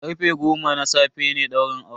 Karfe goma na safe ne daurin auren.